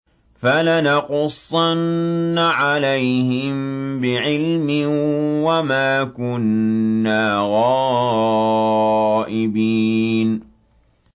فَلَنَقُصَّنَّ عَلَيْهِم بِعِلْمٍ ۖ وَمَا كُنَّا غَائِبِينَ